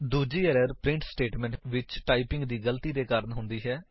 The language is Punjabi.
ਦੂਜੀ ਏਰਰ ਪ੍ਰਿੰਟ ਸਟੇਟਮੇਂਟ ਵਿੱਚ ਟਾਇਪਿੰਗ ਦੀ ਗਲਤੀ ਦੇ ਕਾਰਨ ਹੁੰਦੀ ਹੈ